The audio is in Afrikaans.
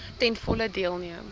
ten volle deelneem